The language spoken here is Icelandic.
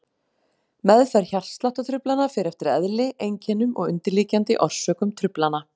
Meðferð hjartsláttartruflana fer eftir eðli, einkennum og undirliggjandi orsökum truflana.